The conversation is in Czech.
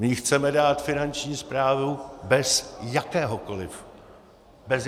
My ji chceme dát Finanční správě bez jakéhokoliv dohledu.